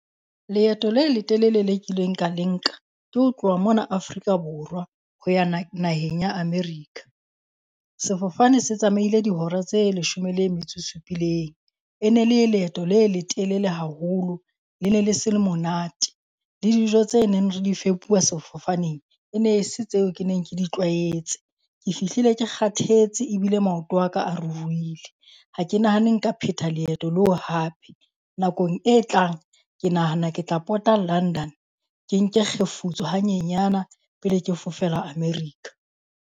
Leeto le letelele le kileng ka le nka ke ho tloha mona Afrika Borwa ho ya naheng ya America. Sefofane se tsamaile dihora tse leshome le metso e supileng. E ne le leeto le letelele haholo. Le ne le se monate le dijo tse neng re di fepuwa sefofaneng e ne se tseo ke neng ke di tlwaetse. Ke fihlile ke kgathetse ebile maoto a ka a ruruhile. Ha ke nahane nka pheta leeto leo hape. Nakong e tlang ke nahana ke tla pota London, ke nke kgefutso hanyenyana pele ke fofela America.